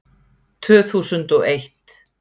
Tvö þúsund og eitt